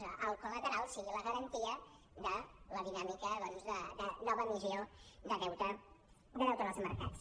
que el col·lateral sigui la garantia de la dinàmica de nova emissió de deute en els mercats